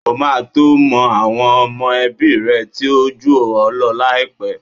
O máa to mọ àwọn ọmọ ẹbí rẹ̀ tí ó jù ọ láìpẹ́.